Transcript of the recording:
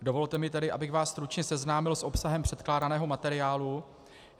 Dovolte mi tedy, abych vás stručně seznámil s obsahem předkládaného materiálu.